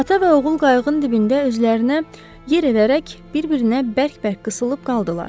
Ata və oğul qayığın dibində özlərinə yer edərək bir-birinə bərk-bərk qısılıb qaldılar.